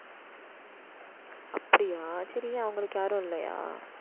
அப்படியா சரி, அவங்களுக்கு யாரும் இல்லையா